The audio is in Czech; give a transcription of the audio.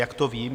Jak to vím?